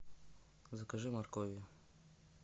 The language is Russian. закажи моркови